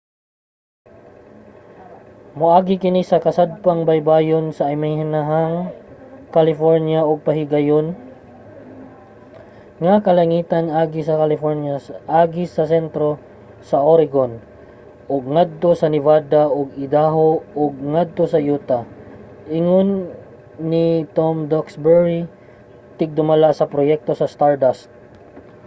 "moagi kini sa kasadpang baybayon sa amihanang california ug pahayagon ang kalangitan agi sa california agi sa sentro sa oregon ug ngadto sa nevada ug idaho ug ngadto sa utah, ingon ni tom duxbury tigdumala sa proyekto sa stardust